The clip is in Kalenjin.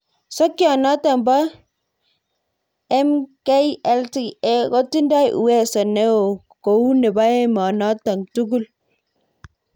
Sokyot notok po Mqlta kotindoi uwezo neo kou nepo emonotok tugul